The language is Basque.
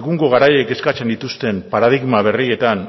egungo garaiek eskatzen dituzten paradigma berrietan